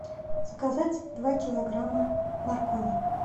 заказать два килограмма моркови